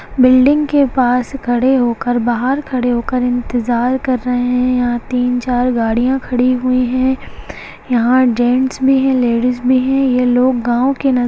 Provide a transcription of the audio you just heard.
building के पास खड़े होकर बाहर खड़े होकर इंतजार कर रहे है यहां तीन चार गाड़ियां खड़ी हुई है यहां जैंट्स भी है लेडिज भी है ये लोग गाव के न --